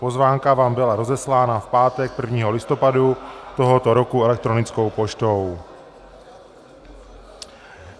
Pozvánka vám byla rozeslána v pátek 1. listopadu tohoto roku elektronickou poštou.